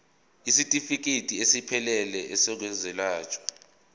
isitifikedi esiphelele sezokwelashwa